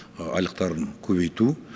айлықтарын көбейту